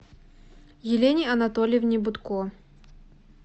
елене анатольевне бутко